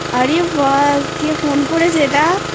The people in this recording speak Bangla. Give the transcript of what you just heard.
আরে ব্যাস কে ফোন করেছেxa0এটা!